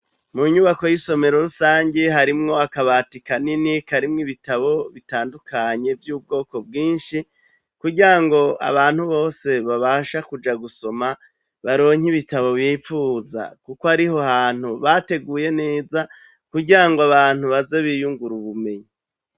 Mu nyubako y'isomero rusangi harimwo akabati kanini, karimwo ibitabo bitandukanye vy'ubwoko bwinshi kugirango abantu bose babasha kuja gusoma, baronke ibitabo bipfuza kuko ariho hantu bateguye neza kugirango abantu baze biyungure ubumenyi.